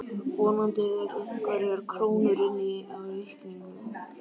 Vonandi eru einhverjar krónur inni á reikningnum.